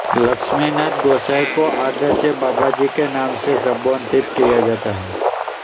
लक्ष्मिनाथ गोसाईं को आदर से बाबाजी के नाम से संबोधित किया जाता है